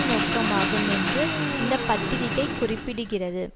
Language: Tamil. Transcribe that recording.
நோக்கமாகும் என்று இந்த பத்திரிக்கை குறிப்பிடுகிறது